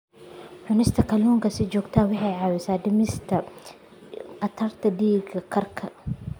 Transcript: Cunista kalluunka si joogto ah waxay caawisaa dhimista khatarta dhiig karka.